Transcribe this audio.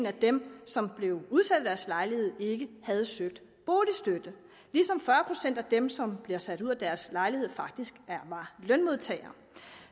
af dem som blev udsat af deres lejlighed ikke havde søgt boligstøtte ligesom fyrre procent af dem som blev sat ud af deres lejlighed faktisk var lønmodtagere